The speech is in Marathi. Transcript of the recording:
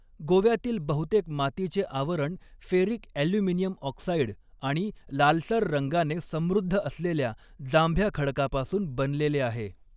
गोव्यातील बहुतेक मातीचे आवरण फेरिक ॲल्युमिनियम ऑक्साईड आणि लालसर रंगाने समृद्ध असलेल्या जांभ्या खडकापासून बनलेले आहे.